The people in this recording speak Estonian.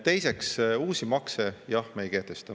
Teiseks, uusi makse, jah, me ei kehtesta.